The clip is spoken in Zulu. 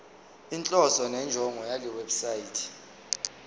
inhloso nenjongo yalewebsite